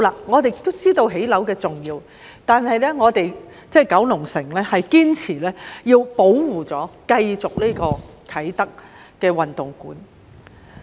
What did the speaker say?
我們也明白興建樓宇的重要性，但我們九龍城區堅持要保護和繼續興建啟德體育園。